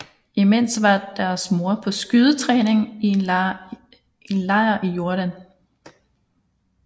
Imens var deres mor på skydetræning i en lejr i Jordan